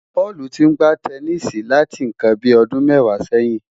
Paul ti ń gbá tẹníìsì láti nǹkan bíi ọdún mẹ́wàá sẹ́yìn.